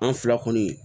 An fila kɔni